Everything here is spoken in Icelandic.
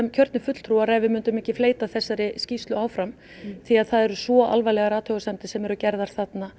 kjörnir fulltrúar ef við myndum ekki fleyta þessari skýrslu áfram því það eru svo alvarlegar athugasemdir sem þarna eru gerðar